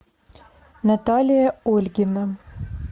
наталья ольгина